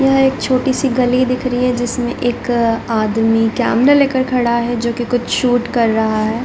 यह एक छोटी-सी गली दिख रही है जिसमे एक आदमीकैमरा लेकर खड़ा है जो की कुछ शूट कर रहा है।